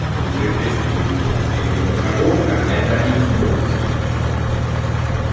то ли плейстешен толи иксбок я не по коробка это иксбокс если что